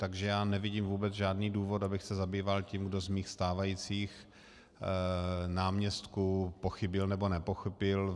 Takže já nevidím vůbec žádný důvod, abych se zabýval tím, kdo z mých stávajících náměstků pochybil, nebo nepochybil.